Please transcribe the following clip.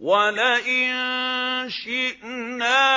وَلَئِن شِئْنَا